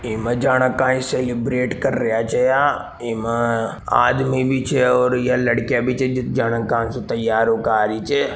इमे जाने का सेलिब्रेट कर रेया छे या एमे आदमी भी छे और या लडकिया भी छे जा जाने का से तेयार होका आ रही छे।